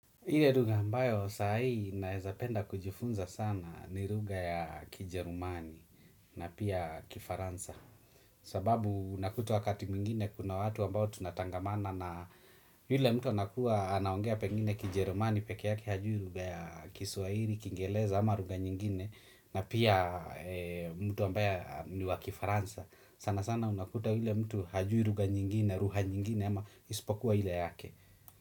Ile lugha ambayo saa hii naweza penda kujifunza sana ni lugha ya Kijerumani na pia Kifaransa. Sababu unakuta wakati mwingine kuna watu ambao tunatangamana na yule mtu anakuwa anaongea pengine Kijerumani pekee yake hajui lugha ya Kiswahili, kingereza ama lugha nyingine na pia mtu ambaye ni wa Kifaransa. Sana sana unakuta yule mtu hajui lugha nyingine, lugha nyingine ama ispokuwa ile yake.